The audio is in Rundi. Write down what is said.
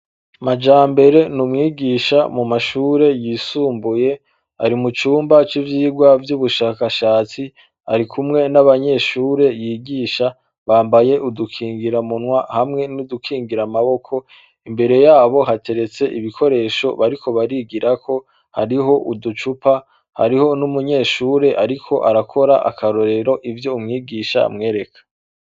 Majambere n'umwigisha mu mashure yisumbuye, ari mu cumba c'ivyirwa vy'ubushakashatsi. Arikumwe n'abanyeshure yigisha, bambaye udukingira munwa hamwe n'udukingir'amaboko, imbere yabo hateretse ibikoresho bariko barigirako hariho uducupa, hariho n'umunyeshure arik'arakora akarorero ivyo umwigisha amwereka.